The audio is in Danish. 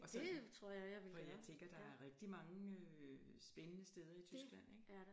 Og sådan for jeg der er rigtig mange øh spændende steder i Tyskland ikke